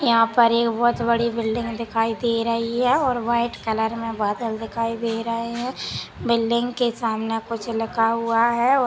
यहाँ पर एक बहोत बड़ी बिल्डिंग दिखाई दे रही हैं और वाइट कलर बादल दिखाई दे रही हैं बिल्डिंग के सामने कुछ लिखा हुआ हैं और--